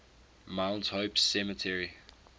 mount hope cemetery